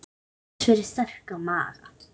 Aðeins fyrir sterka maga.